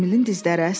Emilin dizləri əsdi.